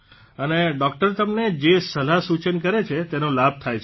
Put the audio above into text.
અને ડોકટર તમને જે સલાહસૂચન કરે છે તેનો લાભ થાય છે